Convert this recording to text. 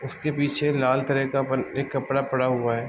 उसके पीछे लाल कलर का अपन एक कपड़ा पड़ा हुआ है।